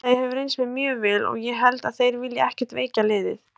Félagið hefur reynst mér mjög vel og ég held að þeir vilji ekki veikja liðið.